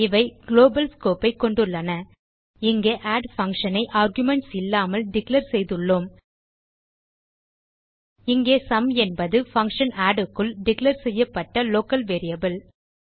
இவை global scope ஐ கொண்டுள்ளன இங்கே ஆட் பங்ஷன் ஐ ஆர்குமென்ட்ஸ் இல்லாமல் டிக்ளேர் செய்துள்ளோம் இங்கே சும் என்பது பங்ஷன் ஆட் க்குள் டிக்ளேர் செய்யப்பட்ட லோக்கல் வேரியபிள்